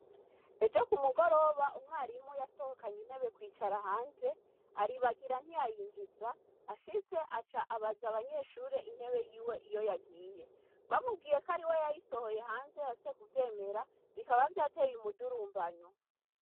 Ejo kumugoroba, umwarimu yasohokanye intebe kwicara hanze, aribagira ntiyayinjiza. Ashitse, aca abaza abanyeshure intebe yiwe iyo yagiye. Bamubwiye ko ariwe yayisohoye hanze yanse kuvyemera, bikaba vyateye umudurumbanyo.